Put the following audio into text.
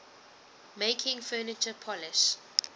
making furniture polish